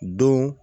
Don